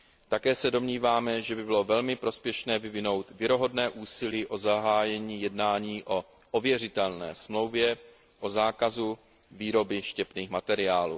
Také se domníváme, že by bylo velmi prospěšné vyvinout věrohodné úsilí o zahájení jednání o ověřitelné Smlouvě o zákazu výroby štěpných materiálů.